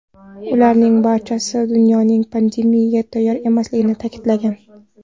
Ularning barchasi dunyoning pandemiyaga tayyor emasligini ta’kidlagan.